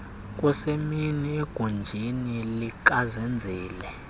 kusemini egunjini likazenzile